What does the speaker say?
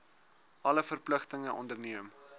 alle verpligtinge onderneem